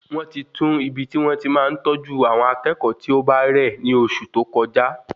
Wọn ti tun ibi ti won ti máa n tọju awọn akékòó ti ọ bá rẹ ni oṣù tó kọjá